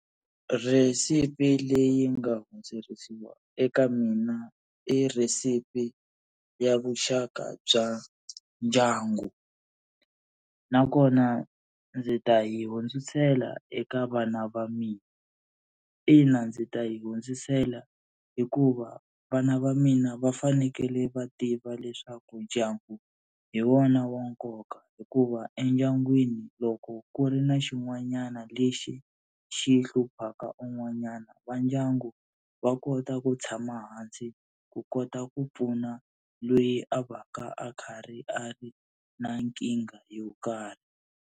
Rhesipi leyi nga hundzerisiwa eka mina i rhesipi ya vuxaka bya ndyangu nakona ndzi ta yi hundzisela eka vana va mina. Ina ndzi ta yi hundzisela hikuva vana va mina va fanekele va tiva leswaku ndyangu hi wona wa nkoka, hikuva endyangwini loko ku ri na xin'wanyana lexi xi hluphaka un'wanyana va ndyangu va kota ku tshama hansi ku kota ku pfuna loyi a va ka a karhi a ri na nkingha yo karhi.